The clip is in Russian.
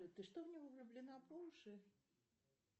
ты что в него влюблена по уши